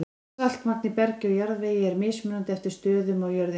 Saltmagn í bergi og jarðvegi er mismunandi eftir stöðum á jörðinni.